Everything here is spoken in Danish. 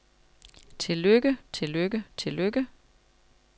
tillykke tillykke tillykke